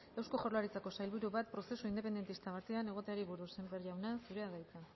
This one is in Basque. eusko jaurlaritzako sailburu bat prozesu independentista batean egoteari buruz sémper jauna zurea da hitza